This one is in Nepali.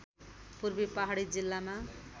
पूर्वी पहाडी जिल्लामा